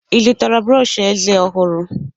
Ị zụtara brọọshị eze ọhụrụ?